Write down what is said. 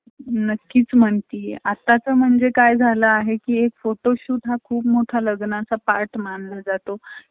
थप्प होतं. म्हणून business करतांना, आपण स्वतः business करा. आणि